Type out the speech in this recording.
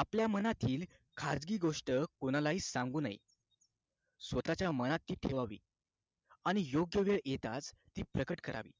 आपल्या मनातील खाजगी गोष्ट कोणालाही सांगू नये स्वतःच्या मनात ती ठेवावी आणि योग्य वेळ येताच ती प्रकट करावी